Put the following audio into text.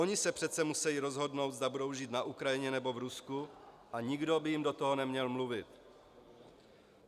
Oni se přece musejí rozhodnout, zda budou žít na Ukrajině, nebo v Rusku, a nikdo by jim do toho neměl mluvit.